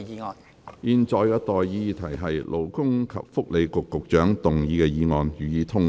我現在向各位提出的待議議題是：勞工及福利局局長動議的議案，予以通過。